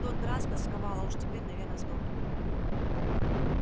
в тот раз тосковал а уж теперь наверное сдохнет